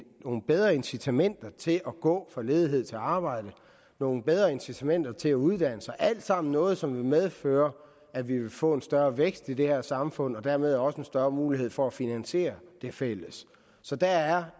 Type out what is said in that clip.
nogle bedre incitamenter til at gå fra ledighed til arbejde nogle bedre incitamenter til at uddanne sig alt sammen noget som vil medføre at vi vil få en større vækst i det her samfund og dermed også en større mulighed for at finansiere det fælles så der er